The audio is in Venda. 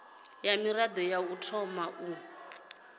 mirado ya u thoma u